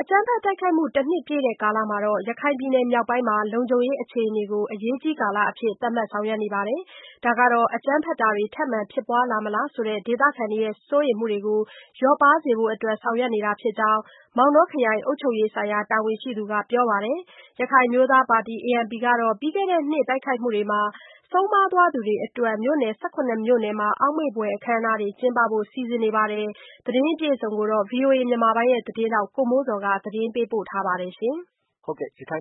အကြမ်းဖက်တိုက်ခိုက်မှု တနှစ်ပြည့်တဲ့ကာလမှာ ရခိုင်ပြည်နယ် မြောက်ပိုင်းမှာ လုံခြုံရေး အခြေ အနေကို အရေးကြီးကာလ သတ်မှတ်ဆောင်ရွက် နေပါတယ်။ ဒါဟာ အကြမ်းဖက်တာတွေ ထပ်မံ ဖြစ်ပွားလာမလားဆိုတဲ့ ဒေသခံတွေရဲ့ စိုးရိမ်မှုတွေကိုလျော့ပါးစေဖို့အတွက် ဆောင်ရွက်နေတာ ဖြစ်ကြောင်း မောင်တောခရိုင်က အုပ်ချုပ်ရေးဆိုင်ရာ တာဝန်ရှိသူက ပြောပါတယ်။ ရခိုင်အမျိုးသား ပါတီကတော့ ပြီးခဲ့တဲ့နှစ်က တိုက်ခိုက်မှုမှာ ဆုံးပါးသွားသူတွေအတွက် မြို့နယ် ၁၇ မြို့နယ် အောက်မေ့ဖွယ်အခမ်းအနားတွေ ကျင်းပဖို့ စီစဉ်နေပါတယ် ။ ဒီသတင်းကိုတော့ ဗွီအိုအေ မြန်မာပိုင်းရဲ့ သတင်းထောက် ကိုမိုးဇော်က တင်ပြထားပါတယ်။ ရခိုင်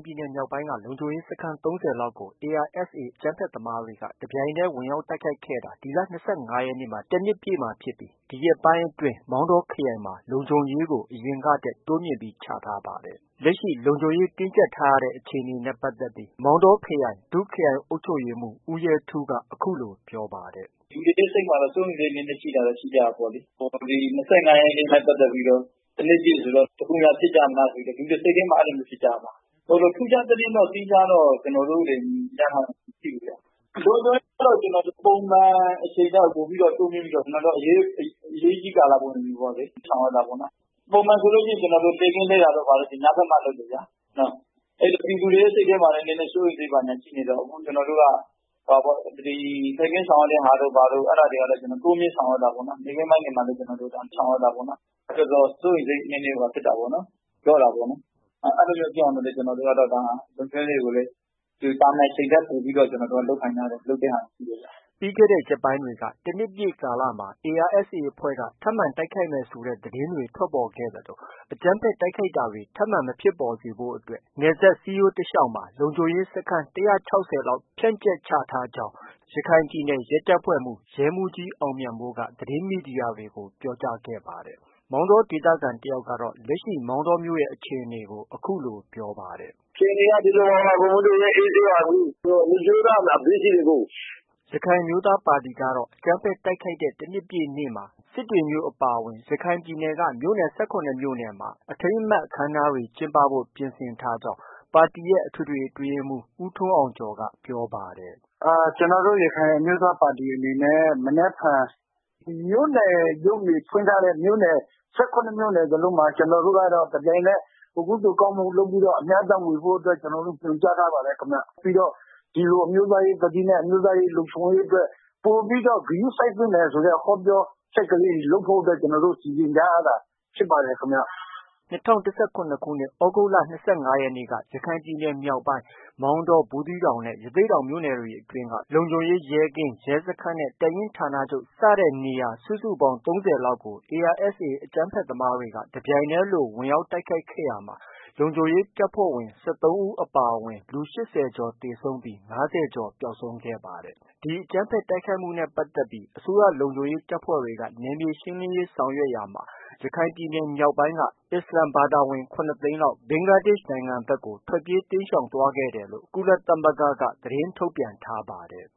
ပြည်နယ် မြောက်ပိုင်းက လုံခြုံရေးစခန်း ၃၀ လောက်ကိုARSA အကြမ်းဖက်သမားတွေက တပြိုင်နက်တည်းလို ဝင်ရောက်တိုက်ခိုက်ခဲ့တာ ဒီလ ၂၅ ရက်နေ့မှာ တနှစ်ပြည့်မှာဖြစ်ပြီး ဒီရက်ပိုင်းအတွင်း မောင်တောခရိုင်မှာ လုံခြုံရေးကို အရင်ကထက် ပိုမိုပြီး တိုးမြှင့်ထားပါတယ်။ လက်ရှိ လုံခြုံရေးတင်းကြပ်ထားရတဲ့အခြေအနေနဲ့ ပတ်သက်ပြီး မောင်တောခရိုင် ဒုခရိုင် အုပ်ချုပ်ရေးမှူး ဦးရဲထူးက အခုလို ပြောပါတယ်။ “လူတွေရဲ့စိတ်မှာတော့ စိုးရိမ်စိတ်ရှိကြတာပေါ့လေ။ ၂၅ ရက်နေ့နဲ့ပတ်သက်ပြီး တနှစ်ပြည့်ဆိုပြီး တခုခုများ ဖြစ်ကြမလားဆိုပြီး လူတွေက အဲလိုမျိုး ဖြစ်ကြတာပါ။ ထူးခြားသတင်းတော့ သီးခြားတော့ ကျနော်တို့တွေ ရထားတာမရှိဘူးဗျ။ လုံခြုံရေးကတော့ ကျနော်တို့ ပုံမှန် အချိန်ထက် တိုးမြှင့်ပြီးတော့ အရေးကြီးကာလ ပုံစံမျိုးပေါ့လေ- ဆောင်ရွက်တာပေါ့နော်။ ပုံမှန်ဆိုရင် လှည့်ကင်းလှည့်တာတို့ ဘာတို့ဆို ညဘက်မှ ဆောင်ရွက်တာပေါ့ဗျာ။ အခု ပြည်သူ တွေရဲ့ စိတ်ထဲမှာလည်း စိုးရိမ်စိတ်တွေ ဘာတွေ ရှိနေတော့ လှည့်ကင်းဆောင်ရွက်တာတို့ ဘာတို့ တိုးမြှင့်ဆောင်ရွက်တာပေါ့။ နေ့ခင်း ပိုင်းတွေမှာလည်း ကျနော်တို့ ဆောင်ရွက်တာပေါ့။ အဲတော့ စိုးရိမ်စိတ်နည်းနည်းလျော့တာပေါ့နော်။ အဲလိုမျိုးဖြစ်အောင်လည်း ကျနော်တို့က လုံခြုံရေးတွေကို သာမန် အချိန်ထက် ပိုပြီး လုပ်ခိုင်းထား တယ်၊ လုပ်တဲ့ဟာတွေ ရှိတယ်။ ” ပြီးခဲ့တဲ့ ရက်ပိုင်းတွေက တနှစ်ပြည့်ကာလမှာ ARSA အဖွဲ့က ထပ်မံ တိုက်ခိုက်မယ်ဆိုတဲ့ သတင်းတွေ ထွက်ပေါ်ခဲ့သလို အကြမ်းဖက် တိုက်ခိုက်တာတွေ ထပ်မံမဖြစ်ပေါ်စေဖို့အတွက် နယ်စပ်စည်းရိုးတလျှောက်မှာ လုံခြုံရေးစခန်း ၁၆၀ လောက် ဖြန့်ကျက်ချထားခဲ့ကြောင်း ရခိုင်ပြည်နယ် ရဲတပ်ဖွဲ့မှုး ရဲမှူးကြီး အောင်မြတ်မိုးက သတင်းမီဒီယာတွေကို ပြောကြားခဲ့ပါတယ်။ မောင်တောဒေသခံတဦးကတော့ လက်ရှိ မောင်တောအခြေအနေကို အခုလို ပြောပါတယ်။ “အခြေအနေက ဒီလိုပါပဲ အေးဆေးပါ။ လုံခြုံရေးက အပြည့်ရှိတယ် အကို။” ရခိုင်အမျိုးသားပါတီကတော့ အကြမ်းဖက် တိုက်ခိုက်တဲ့ တနှစ်ပြည့်နေ့မှာ စစ်တွေမြို့အပါအဝင် မြို့နယ် ၁၇ မြို့နယ်မှာ အထိမ်းအမှတ်အခမ်းအနားတွေ ကျင်းပဖို့ ပြင်ဆင်ထားကြောင်း ပါတီရဲ့ အထွေထွေအတွင်းရေးမှူး ဦးထွန်းအောင်ကျော်က ပြောပါတယ်။ “ ကျနော်တို့ ရခိုင်အမျိုးသားပါတီ အနေနဲ့ မနက်ဖြန် မြို့နယ်ရုံးတွေဖွင့်ထားတဲ့ မြို့နယ် ၁၇ မြို့နယ် စလုံးမှာ တပြိုင်နက် ကုသိုလ်ကောင်းမှုလုပ်ပြီးတော့ အမျှအတန်းဝေဖို့အတွက် ညွှန်ကြား ထားပါ တယ် ခင်ဗျ။ ပြီးတော့ ဒီလို အမျိုးသားရေးသတိနဲ့ အမျိုးသားရေးလုံခြုံရေးအတွက် ပိုပြီးတော့ ဂရုစိုက်သင့်တယ် ဆိုတဲ့ ဟောပြောချက်လေးတွေ လုပ်ဖို့အတွက် ကျနော်တို့ စီစဉ်ထားရတာ ဖြစ်ပါတယ်ခင်ဗျ။ ” ၂၀၁၇ ခုနှစ် သြဂုတ်လ ၂၅ ရက်နေ့က ရခိုင်ပြည်နယ် မြောက်ပိုင်း မောင်တော၊ ဘူးသီးတောင်နဲ့ ရသေ့တောင်မြို့နယ်အတွင်းက လုံခြုံရေးရဲကင်း၊ ရဲစခန်းနဲ့ တပ်ရင်းဌာနချုပ် စတဲ့ စခန်းနေရာ စုစုပေါင်း ၃၀ လောက်ကို ARSA အကြမ်းဖက်သမားတွေက တပြိုင်နက်တည်းလို ဝင်ရောက် တိုက်ခိုက်ခဲ့ရာမှာ လုံခြုံရေးတပ်ဖွဲ့ဝင် ၁၃ ဦးအပါအဝင် လူ ၈၀ ကျော် သေဆုံးပြီး ၅၀ ကျော် ပျောက်ဆုံးခဲ့ပါတယ်။ ဒီအကြမ်းဖက်တိုက်ခိုက်မှုနဲ့ပတ်သက်ပြီး အစိုးရလုံခြုံရေးတပ်ဖွဲ့တွေက နယ်မြေရှင်းလင်းတာတွေ ဆောင်ရွက်ခဲ့တဲ့နောက်မှာ ရခိုင်ပြည်နယ်မြောက်ပိုင်းက အစ္စလာမ်ဘာသာဝင် ၇ သိန်းလောက် ဘင်္ဂလားဒေ့ရ်ှနိုင်ငံဘက်ကို တိမ်းရှောင်သွားခဲ့တယ်လို့ ကုလသမဂ္ဂက ထုတ်ပြန်ထားပါတယ်။